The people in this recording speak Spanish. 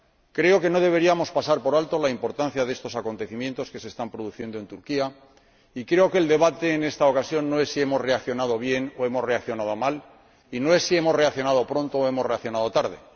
Creo que no deberíamos pasar por alto la importancia de estos acontecimientos que se están produciendo en Turquía y creo que el debate, en esta ocasión, no es si hemos reaccionado bien o hemos reaccionado mal y no es si hemos reaccionado pronto o hemos reaccionado tarde.